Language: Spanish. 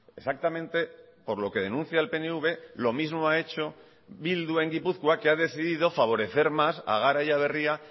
exactamente por lo que denuncia el pnv lo mismo ha hecho bildu en gipuzkoa que ha decidido favorecer más a gara y a berria